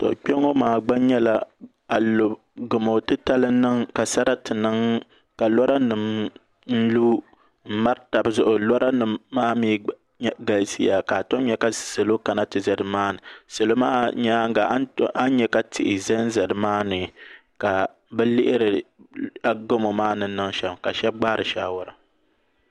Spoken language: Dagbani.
Kpɛ ŋɔ maa gba nyɛla gamo titali n niŋ ka sarati niŋ ka lora nim lu n mari tabi zuɣu lora nim maa galisiya ka a tom nyɛ ka salo kana ti ʒɛ nimaani salo maa nyaanga a ni nyɛ ka tihi ʒɛnʒɛ nimaani ka bi lihiri gamo maa ni niŋ shɛm ka shab gbaari saawara